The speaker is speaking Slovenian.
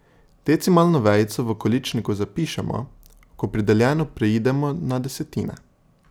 Decimalno vejico v količniku zapišemo, ko pri deljenju preidemo na desetine.